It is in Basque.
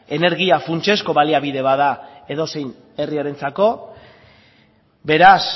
energia funtsezko baliabide bat da edozein herriarentzako beraz